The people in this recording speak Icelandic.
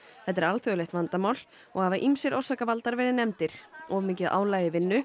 þetta er alþjóðlegt vandamál og hafa ýmsir orsakavaldar verið nefndir of mikið álag í vinnu